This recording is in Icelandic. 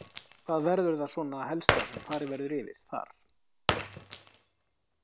Hvað verður það svona helsta sem verður farið yfir þar?